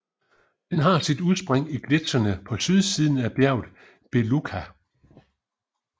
Den har sit udspring i gletsjerne på sydsiden af bjerget Belukha